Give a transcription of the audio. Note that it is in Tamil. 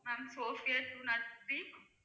Ma'am Sophia two not three